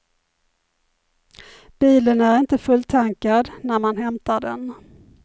Bilen är inte fulltankad när man hämtar den.